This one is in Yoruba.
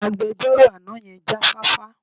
Agbejọ́rò àná yẹn jáfáfá.